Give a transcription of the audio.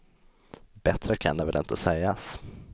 Bättre kan det väl inte sägas.